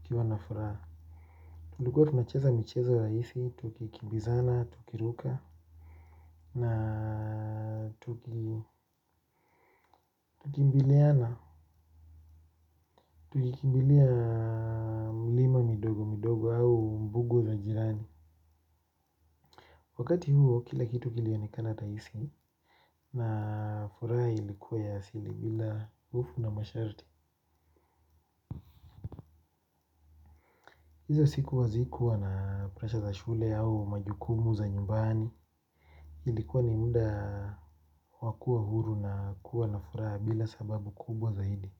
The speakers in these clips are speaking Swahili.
ukiwana furaha. Tulikuwa tunacheza micheza raisi, tukikimbizana, tukiruka, na tukimbiliana, tukikimbilia mlima midogo midogo au mbugu la jirani. Wakati huo, kila kitu kilionekana raisi na furaha ilikuwa ya asili bila ufu na masharti. Hizo siku hazikuwa na presha za shule au majukumu za nyumbani, ilikuwa ni muda wa kuwa huru na kuwa na furaha bila sababu kubwa zaidi.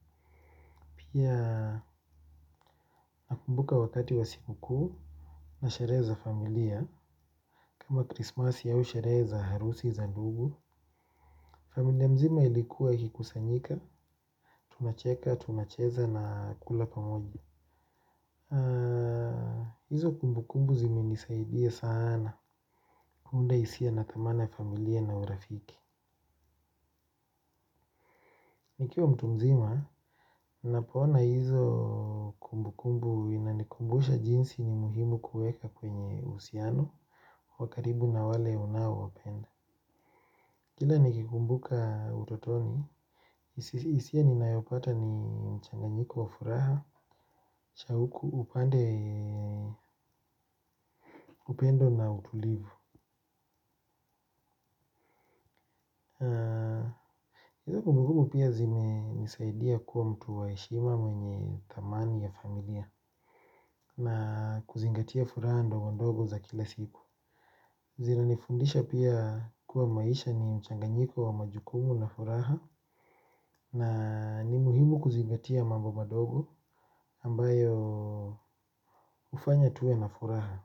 Pia nakumbuka wakati wa sikukuu na sherehe za familia, kama krismasi au sherehe za harusi za ndugu. Familia mzima ilikuwa ikikusanyika, tunacheka, tunacheza na kula pamoja. Hizo kumbukumbu zimenisaidia sana, kuunda hisia nakamana ya familia na urafiki. Nikiwa mtu mzima, napoona hizo kumbukumbu inanikumbusha jinsi ni muhimu kuweka kwenye uhusiano wa karibu na wale unaowapenda. Kila nikikumbuka utotoni hisia ninayopata ni mchanganyiko wa furaha. Chauku upande, upendo na utulivu. Kumbukumbu pia zimenisaidia kuwa mtu wa heshima mwenye thamani ya familia na kuzingatia furaha ndogo ndogo za kila siku. Zinanifundisha pia kuwa maisha ni mchanganyiko wa majukumu na furaha. Na ni muhimu kuzingatia mambo madogo ambayo ufanya tuwe na furaha.